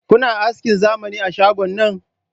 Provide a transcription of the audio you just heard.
Kuna askin zamani a shgon nan?